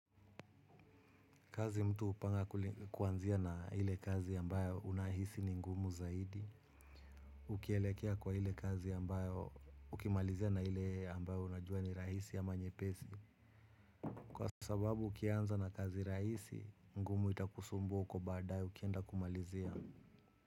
Kazi mtu hupanga kuanzia na hile kazi ambayo unahisi ni ngumu zaidi. Ukielekea kwa ile kazi ambayo ukimalizia na ile ambayo unajua ni rahisi ama nyepesi. Kwa sababu ukianza na kazi rahisi, ngumu itakusumbua huko baadaye ukienda kumalizia.